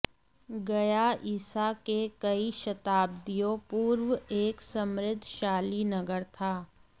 गया ईसा के कई शताब्दियों पूर्व एक समृद्धशाली नगर था